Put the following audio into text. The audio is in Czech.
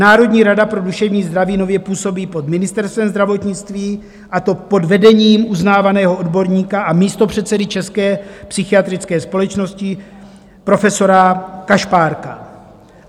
Národní rada pro duševní zdraví nově působí pod Ministerstvem zdravotnictví, a to pod vedením uznávaného odborníka a místopředsedy České psychiatrické společnosti profesora Kašpárka.